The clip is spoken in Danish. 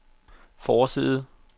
forside